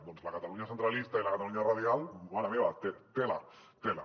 doncs la catalunya centralista i la catalunya radial mare meva tela tela